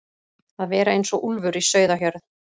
Að vera eins og úlfur í sauðahjörð